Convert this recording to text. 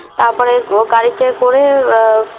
তারপরে গাড়িতে করে